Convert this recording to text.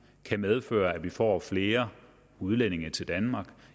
kan medføre at vi får flere udlændinge til danmark